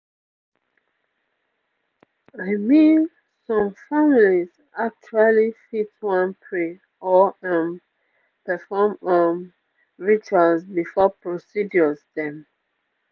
i mean some families actually fit wan pray or um perform um rituals before procedures dem